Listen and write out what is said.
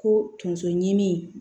Ko tonso ɲimi